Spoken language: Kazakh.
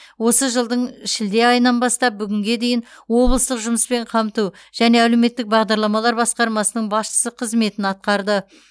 осы жылдың шілде айынан бастап бүгінге дейін облыстық жұмыспен қамту және әлеуметтік бағдарламалар басқармасының басшысы қызметін атқарды